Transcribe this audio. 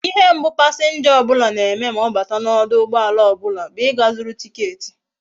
Ihe mbu passenger obula na eme ma obata na oduugboala obula bu iga zuru ticket